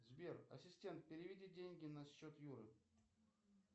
сбер ассистент переведи деньги на счет юры